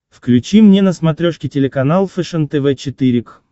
включи мне на смотрешке телеканал фэшен тв четыре к